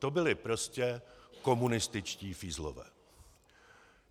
To byli prostě komunističtí fízlové.